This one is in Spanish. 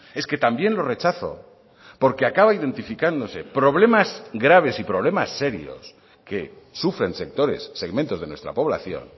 es que también lo rechazo porque acaba identificándose problemas graves y problemas serios que sufren sectores segmentos de nuestra población